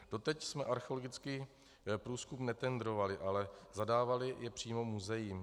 Doteď jsme archeologický průzkum netendrovali, ale zadávali jej přímo muzeím.